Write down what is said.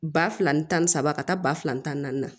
Ba fila ni tan ni saba ka taa ba fila ni naani na